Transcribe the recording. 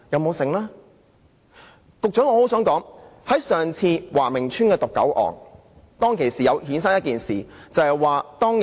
我想告訴局長，上次華明邨的毒狗案，還衍生了另一件事。